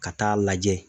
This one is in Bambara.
Ka taa lajɛ